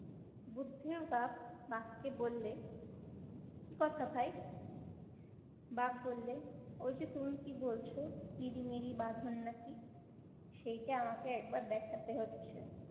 বুদ্ধর বাপ বাঘকে বললে কি কথা ভাই? বাঘ বললে, ওই যে তুমি কি বলছ? ইরিমিরি বাঁধন নাকি সেইটা আমাকে একবার দেখাতে হচ্ছে।